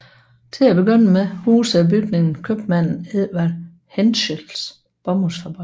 Til at begynde med husede bygningen købmanden Edward Hentschels bomuldsfabrik